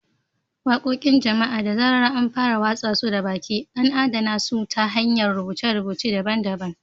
Waƙoƙin jama’a, da zarar an fara watsa su da baki, an adana su ta hanyar rubuce-rubuce daban-daban.